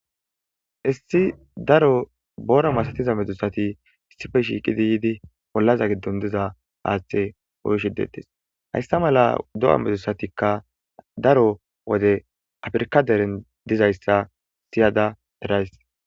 Issi daro boora masatiza medzusati issife shiiqidi yiidi bollaza giddon diza aaththe oyshidetes haysta mala do7a medusatikka daro wode afirka deren dizayssa siyada erays.